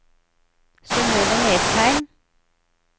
Synøve Nesheim